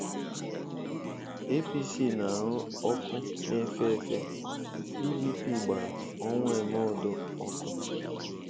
APC na-arụ ọkụ na-efe efe- PDP gbara Onwuemeodo ọkụ.